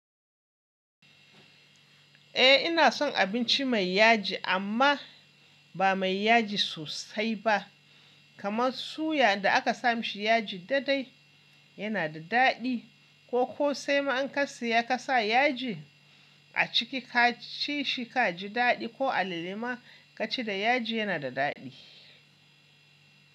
Eh ina son abinci mai yaji amma ba mai yaji sosai ba. Kaman suya da aka sa mishi yaji daidai yana da dadi ko kosai ma an karce ya kasa yaji a ciki ka ci shi ka ji dadi ko alale ma ka ci da yaji yana da dadi.